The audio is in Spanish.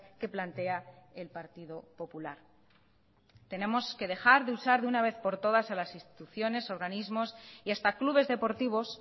que plantea el partido popular tenemos que dejar de usar de una vez por todas a las instituciones y organismos y hasta clubes deportivos